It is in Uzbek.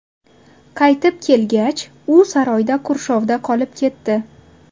Qaytib kelgach, u saroyda qurshovda qolib ketdi.